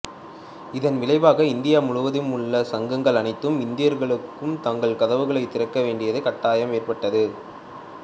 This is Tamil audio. இதன் விளைவாக இந்தியா முழுவதும் உள்ள சங்கங்கள் அனைத்து இந்தியர்களுக்கும் தங்கள் கதவுகளைத் திறக்க வேண்டிய கட்டாயம் ஏற்பட்டது